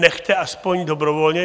Nechte aspoň dobrovolně.